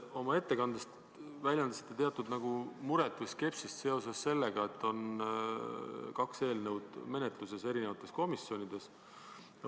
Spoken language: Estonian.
Oma ettekandes te väljendasite teatud muret või skepsist seoses sellega, et menetluses on kaks eelnõu eri komisjonides.